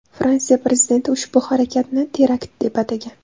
Fransiya prezidenti ushbu harakatni terakt deb atagan .